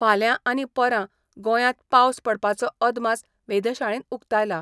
फाल्यां आनी परां गोंयांत पावस पडपाचो अदमास वेधशाळेन उक्तायला.